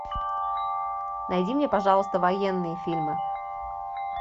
найди мне пожалуйста военные фильмы